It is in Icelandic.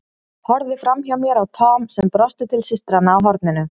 Horfði framhjá mér á Tom sem brosti til systranna á horninu.